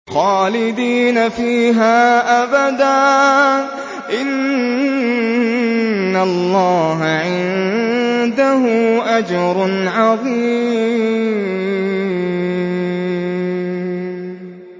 خَالِدِينَ فِيهَا أَبَدًا ۚ إِنَّ اللَّهَ عِندَهُ أَجْرٌ عَظِيمٌ